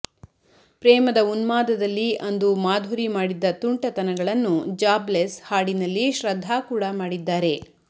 ಪ್ರೇಮದ ಉನ್ಮಾದದಲ್ಲಿ ಅಂದು ಮಾಧುರಿ ಮಾಡಿದ್ದ ತುಂಟತನಗಳನ್ನು ಜಾಬ್ಲೆಸ್ ಹಾಡಿನಲ್ಲಿ ಶ್ರದ್ಧಾ ಕೂಡಾ ಮಾಡಿದ್ದಾರೆ